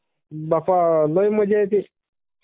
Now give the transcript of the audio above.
बाप्पा ...लई मजा येत्ये..